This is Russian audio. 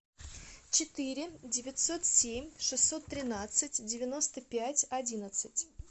четыре девятьсот семь шестьсот тринадцать девяносто пять одиннадцать